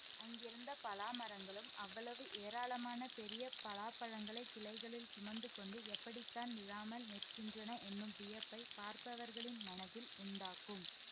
அங்கிருந்த பலா மரங்களும் அவ்வளவு ஏராளமான பெரிய பலாப்பழங்களைக் கிளைகளில் சுமந்து கொண்டு எப்படி தான் விழாமல் நிற்கின்றன என்னும் வியப்பைப் பார்ப்பவர்களின் மனத்தில் உண்டாக்கும்